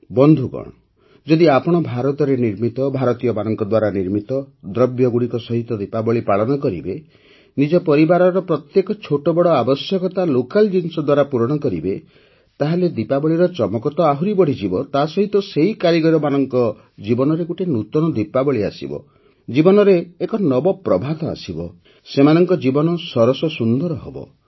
ବନ୍ଧୁଗଣ ଯଦି ଆପଣ ଭାରତରେ ନିର୍ମିତ ଭାରତୀୟମାନଙ୍କ ଦ୍ୱାରା ନିର୍ମିତ ଦ୍ରବ୍ୟଗୁଡ଼ିକ ସହିତ ଦୀପାବଳୀ ପାଳନ କରିବେ ନିଜ ପରିବାରର ପ୍ରତ୍ୟେକ ଛୋଟବଡ଼ ଆବଶ୍ୟକତା ଲୋକାଲ୍ ଜିନିଷ ଦ୍ୱାରା ପୂରଣ କରିବେ ତାହେଲେ ଦୀପାବଳୀର ଚମକ ତ ଆହୁରି ବଢ଼ିଯିବ ତା ସହିତ ସେହି କାରିଗରମାନଙ୍କ ଜୀବନରେ ଗୋଟିଏ ନୂତନ ଦୀପାବଳୀ ଆସିବ ଜୀବନରେ ଏକ ନବପ୍ରଭାତ ଆସିବ ସେମାନଙ୍କ ଜୀବନ ସରସସୁନ୍ଦର ହେବ